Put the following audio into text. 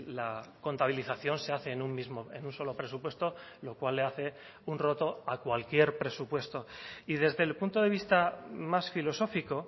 la contabilización se hace en un mismo en un solo presupuesto lo cual le hace un roto a cualquier presupuesto y desde el punto de vista más filosófico